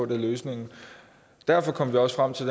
det er løsningen derfor kom vi også frem til